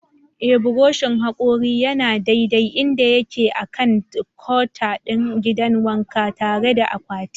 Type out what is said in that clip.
Ee, buroshin hakori yana daidai inda yake a kan counter ɗin gidan wanka, tare da akwati.